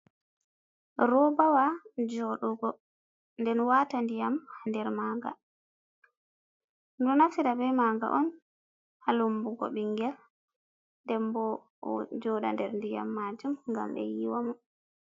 Robawa joɗugo den wata ndiyam nder manga, ɗomɗo naftira be maga on ha lumbugo ɓingel ojoɗata der ndiyam majum gam be yiwa mo.